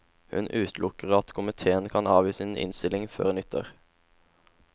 Hun utelukker at komitéen kan avgi sin innstilling før nyttår.